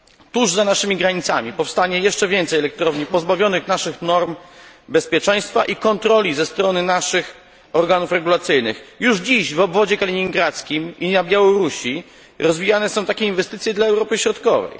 Tuż za naszymi granicami powstanie jeszcze więcej elektrowni pozbawionych naszych norm bezpieczeństwa i kontroli ze strony naszych organów regulacyjnych. Już dziś w obwodzie kaliningradzkim i na Białorusi powstają tego rodzaju inwestycje dla potrzeb Europy Środkowej.